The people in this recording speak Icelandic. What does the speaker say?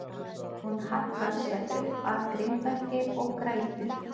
Hún hallar sér upp að grindverki og grætur.